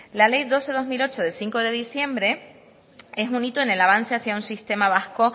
la ley doce barra dos mil ocho de cinco de diciembre es un hito en el avance hacia un sistema vasco